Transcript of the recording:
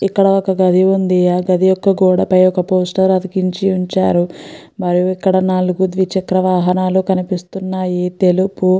ఇక్కడ ఒక గది ఉంది ఆ గది యొక్క గోడ పై ఒక పోస్టర్ అతికించి ఉంచారు మరియు ఇక్కడ నాలుగు ద్విచక్ర వాహనాలు కనిపిస్తున్నాయి తెలుపు --